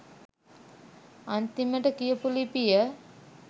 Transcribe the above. අන්තිමට කියපු ලිපිය